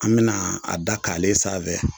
An mina a da k'ale sanfɛ